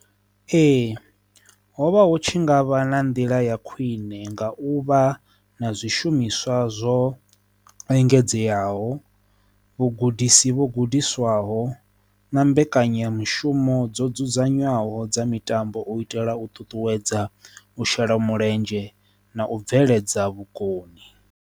Ee, hovha hu tshi nga vha na nḓila ya khwine nga u vha na zwishumiswa zwo engedzeaho vhugudisi vhu gudiswaho na mbekanyamushumo dzo dzudzanywaho dza mitambo u itela u ṱuṱuwedza u shela mulenzhe na u bveledza vhukoni.